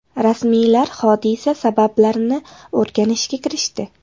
Rasmiylar hodisa sabablarini o‘rganishga kirishdi.